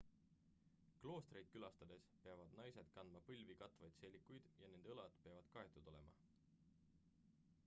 kloostreid külastades peavad naised kandma põlvi katvaid seelikuid ja ka nende õlad peavad kaetud olema